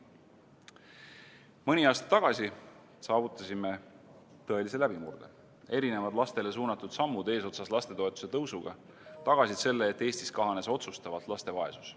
Mõni aasta tagasi saavutasime tõelise läbimurde: erinevad lastele suunatud sammud eesotsas lastetoetuse tõusuga tagasid selle, et Eestis kahanes otsustavalt laste vaesus.